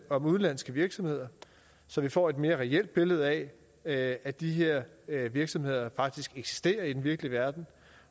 om udenlandske virksomheder så vi får et mere reelt billede af at at de her virksomheder faktisk eksisterer i den virkelige verden